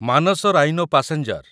Manas rhino passenger